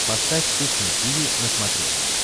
поставь кухня тиви на смотрешке